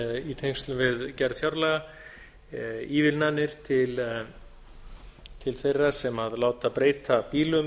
í tengslum við gerð fjárlaga ívilnanir til þeirra sem láta breyta bílum